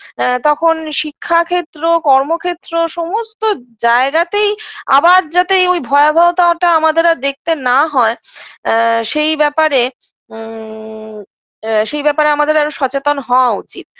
আ তখন শিক্ষা ক্ষেত্র কর্ম ক্ষেত্র সমস্ত জায়গাতেই আবার যাতে ঐ ভয়াবহতাটা আমাদের আর দেখতে না হয় আ সেই ব্যপারে উ আ সেই ব্যপারে আমাদের আরও সচেতন হওয়া উচিত